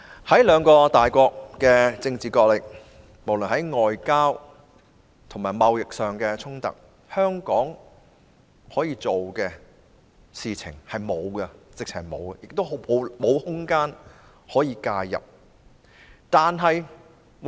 在兩個大國進行政治角力之際，無論是外交和貿易上的衝突，香港根本無法做任何事，亦沒有空間可以介入。